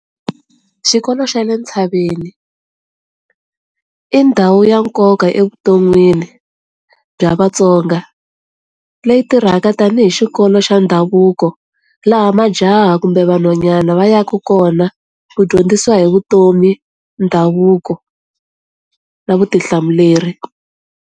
Xikolo xa le ntshaveni, i ndhawu ya nkoka evuton'wini bya vatsonga. Leyi tirhaka tanihi xikolo xa ndhavuko laha majaha kumbe vanhwanyana va yaka kona ku dyondzisiwa hi vutomi, ndhavuko, na vutihlamuleri.